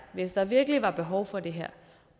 hvis der virkelig var behov for det her